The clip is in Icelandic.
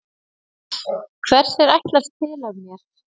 Hvers er ætlast til af mér?